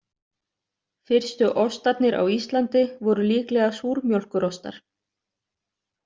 Fyrstu ostarnir á Íslandi voru líklega súrmjólkurostar.